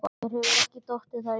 Mér hefur ekki dottið það í hug.